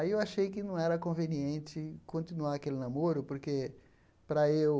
Aí eu achei que não era conveniente continuar aquele namoro porque, para eu,